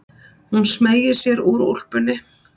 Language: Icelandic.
Hún smeygir sér úr úlpunni.